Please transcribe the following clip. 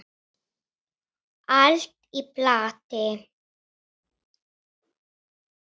Allt í plati!